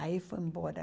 Aí foi embora.